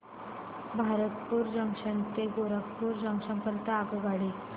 Bharatpur junction पासून Gorakhpur junction करीता आगगाडी